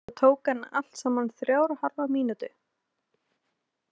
Þetta tók hann allt saman þrjár og hálfa mínútu.